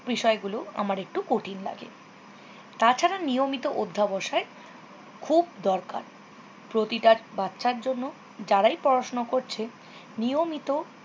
কোন বিষয়গুলো আমার একটু কঠিন লাগে। তাছাড়া নিয়মিত অধ্যবসায় খুব দরকার। প্রতিটা বাচ্চার জন্য জারাই পড়াশুনো করছে নিয়মিত